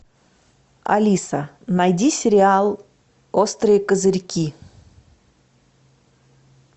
алиса найди сериал острые козырьки